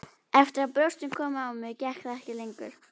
Eftir að brjóstin komu á mig gekk það ekki lengur.